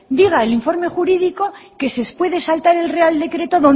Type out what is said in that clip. diga el informe jurídico que se puede saltar el real decreto